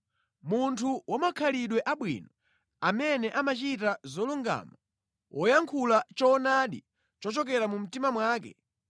Munthu wa makhalidwe abwino, amene amachita zolungama, woyankhula choonadi chochokera mu mtima mwake,